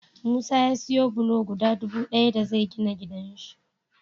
Musa ya siya bulo guda dubu daya da zai gina gidan shi